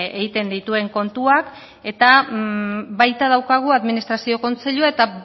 egiten dituen kontuak eta baita daukagu administrazio kontseilua eta